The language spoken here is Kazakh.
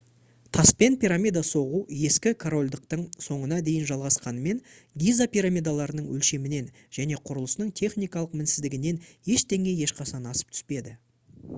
таспен пирамида соғу ескі корольдықтың соңына дейін жалғасқанымен гиза пирамидаларының өлшемінен және құрылысының техникалық мінсіздігінен ештеңе ешқашан асып түспеді